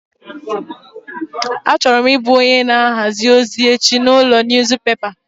Achọrọ m ị bụ onye na ahazi ozi echi n'ụlọ niyuzupepa.